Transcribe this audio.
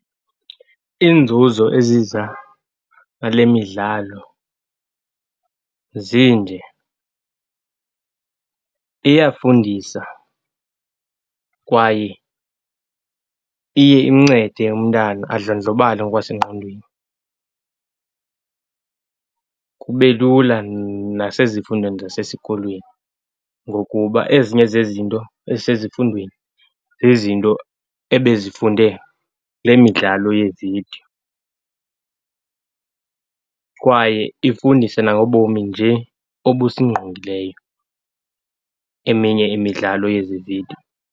Iinzuzo eziza nale midlalo zinde, iyafundisa kwaye iye imncede umntana adlondlobale ngokwasengqondweni. Kube lula nasezifundweni zasesikolweni ngokuba ezinye zezinto ezisezifundweni zizinto ebezifunde le midlalo yeevidiyo. Kwaye ifundisa nangobomi nje obusingqongileyo eminye imidlalo yezi vidiyo.